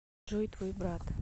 джой твой брат